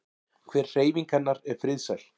Hver hreyfing hennar er friðsæl.